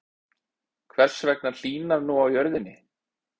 Hvers vegna hlýnar nú á jörðinni?